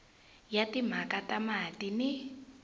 ya timhaka ta mati ni